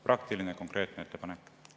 Praktiline ja konkreetne ettepanek.